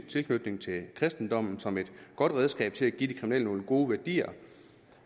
tilknytningen til kristendommen som et godt redskab til at give de kriminelle nogle gode værdier